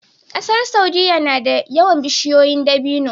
ƙasar saudia nada yawan bishiyoyin dabino